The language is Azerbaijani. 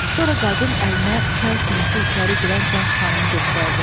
Sonra qadın əlinə çay sinisi içəri girən gənc xanımı göstərdi.